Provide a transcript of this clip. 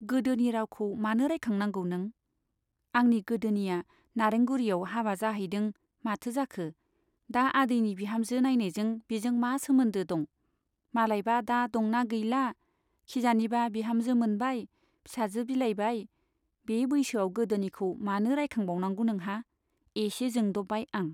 गोदोनि रावखौ मानो रायखांनांगौ नों ? आंनि गोदोनिया नारेंगुरीयाव हाबा जाहैदों माथो जाखो ? दा आदैनि बिहामजो नाइनायजों बिजों मा सोमोन्दो दं ? मालायबा दा दंना गैला , खिजानिबा बिहामजो मोनबाय , फिसाजो बिलाइबाय बे बैसोआव गोदोनिखौ मानो रायखांबावनांगौ नोंहा ? एसे जोंद'बबाय आं।